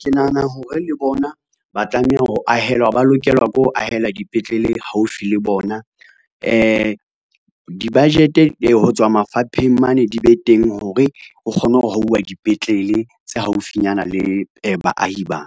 Ke nahana hore le bona ba lokelwa ke ho ahelwa dipetlele haufi le bona, di-budget-e ho tswa mafapheng mane di be teng hore, ho kgone ho hauwa dipetlele tse haufinyana le baahi ba.